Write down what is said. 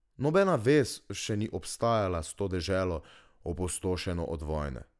Nobena vez še ni obstajala s to deželo, opustošeno od vojne.